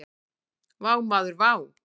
Vá maður vá!